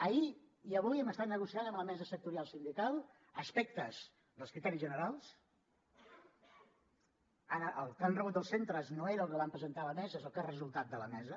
ahir i avui hem estat negociant amb la mesa sectorial sindical aspectes dels criteris generals el que han rebut els centres no era el que vam presentar a la mesa és el que ha resultat de la mesa